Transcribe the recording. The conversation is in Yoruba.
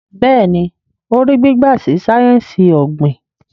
Béèni o rí gbígba sí sáyẹnsì ogbin.